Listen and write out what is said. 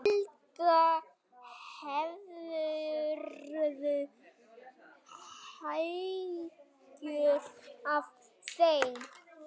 Helga: Hefurðu áhyggjur af þeim?